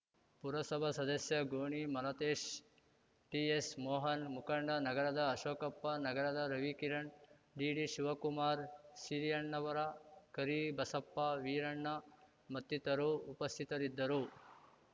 ಪುರಸಭಾ ಸದಸ್ಯ ಗೋಣಿ ಮಾಲತೇಶ್‌ ಟಿಎಸ್‌ ಮೋಹನ್‌ ಮುಖಂಡ ನಗರದ ಅಶೋಕಪ್ಪ ನಗರದ ರವಿಕಿರಣ್ ಡಿಡಿ ಶಿವಕುಮಾರ್‌ ಸಿರಿಯಣ್ಣವರ ಕರಿಬಸಪ್ಪ ವೀರಣ್ಣ ಮತ್ತಿತರು ಉಪಸ್ಥಿತರಿದ್ದರು